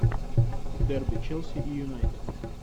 дерби челси и юнайтед